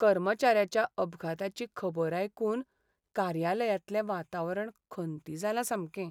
कर्मचाऱ्याच्या अपघाताची खबर आयकून कार्यालयांतलें वातावरण खंती जालां सामकें.